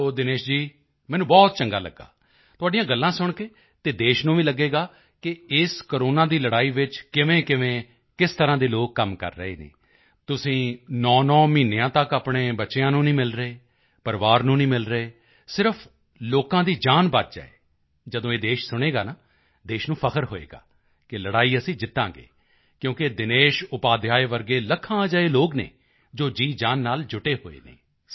ਚਲੋ ਦਿਨੇਸ਼ ਜੀ ਮੈਨੂੰ ਬਹੁਤ ਚੰਗਾ ਲੱਗਾ ਤੁਹਾਡੀਆਂ ਗੱਲਾਂ ਸੁਣ ਕੇ ਅਤੇ ਦੇਸ਼ ਨੂੰ ਵੀ ਲੱਗੇਗਾ ਕਿ ਇਸ ਕੋਰੋਨਾ ਦੀ ਲੜਾਈ ਵਿੱਚ ਕਿਵੇਂਕਿਵੇਂ ਕਿਸ ਤਰ੍ਹਾਂ ਦੇ ਲੋਕ ਕੰਮ ਕਰ ਰਹੇ ਹਨ ਤੁਸੀਂ 9 ਮਹੀਨੇ ਤੱਕ ਆਪਣੇ ਬੱਚਿਆਂ ਨੂੰ ਨਹੀਂ ਮਿਲ ਰਹੇ ਪਰਿਵਾਰ ਨੂੰ ਨਹੀਂ ਮਿਲ ਰਹੇ ਸਿਰਫ ਲੋਕਾਂ ਦੀ ਜਾਨ ਬਚ ਜਾਏ ਜਦੋਂ ਇਹ ਦੇਸ਼ ਸੁਣੇਗਾ ਨਾ ਦੇਸ਼ ਨੂੰ ਫ਼ਖਰ ਹੋਵੇਗਾ ਕਿ ਲੜਾਈ ਅਸੀਂ ਜਿੱਤਾਂਗੇ ਕਿਉਂਕਿ ਦਿਨੇਸ਼ ਉਪਾਧਿਆਇ ਵਰਗੇ ਲੱਖਾਂ ਅਜਿਹੇ ਲੋਕ ਹਨ ਜੋ ਜੀਅਜਾਨ ਨਾਲ ਜੁਟੇ ਹੋਏ ਹਨ